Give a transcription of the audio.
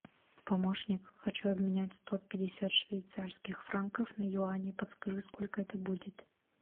помощник хочу обменять сто пятьдесят швейцарских франков на юани подскажи сколько это будет